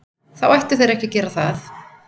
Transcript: Þá ættu þeir ekki að gera það.